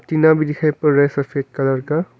पीला भी दिखाई पड़ रहा है सफेद कलर का।